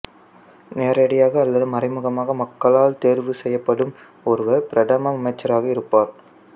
நேரடியாக அல்லது மறைமுகமாக மக்களால் தெரிவு செய்யப்படும் ஒருவர் பிரதம அமைச்சராக இருப்பார்